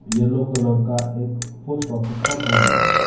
Yellow colour का एक post office का बोर्ड लगा है।